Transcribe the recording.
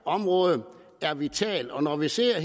område er vitalt når vi ser